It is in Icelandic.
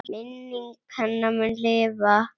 Minning hennar mun lifa.